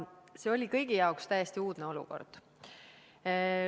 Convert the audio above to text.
See oli kõigi jaoks täiesti uudne olukord.